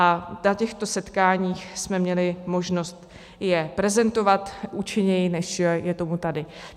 A na těchto setkáních jsme měli možnost je prezentovat účinněji, než je tomu tady.